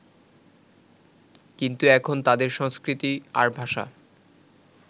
কিন্তু এখন তাদের সংস্কৃতি আর ভাষা